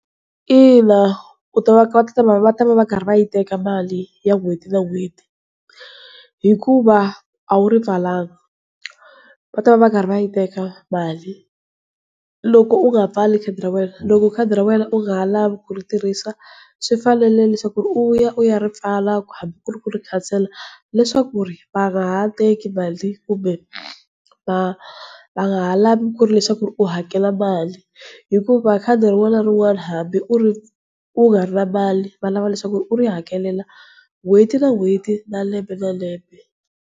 Ina u ta va ta va va karhi va yi teka mali ya n'hweti na n'hweti, hikuva a wu ri pfalanga va ta va va karhi va yi teka mali, loko u nga pfali khadi ra wena. Loko khadi ra wena u nga ha lavi ku ri tirhisa swi fanele leswaku ku ri u ya u ya ri pfala hambi ku ri ku ri khansela, leswaku ri va nga ha teki mali, kumbe va va nga ha lavi ku ri leswaku u hakela mali, hikuva khadi rin'wana na rin'wana hambi u ri u nga ri na mali va lava leswaku u ri hakela n'hweti na n'hweti na lembe lembe.